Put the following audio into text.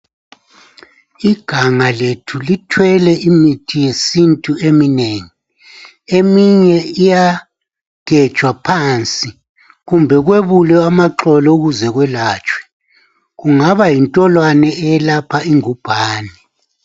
Igama lethu lithwele imithi yesintu eminengi. Eminye iyagejwa phansi kumbe kwebulwe amaxolo ukuze kwelatshwe. Kungaba yintolwane eyelapha ingubhane.